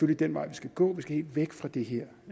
den vej vi skal gå vi skal helt væk fra det her